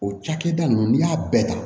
O cakɛda ninnu n'i y'a bɛɛ ta